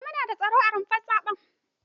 Eh mu nada tsaro a rumfar zaɓen.